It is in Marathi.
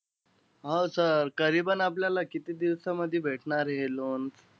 हो sir आपल्याला किती दिवसामध्ये भेटणार हे loan?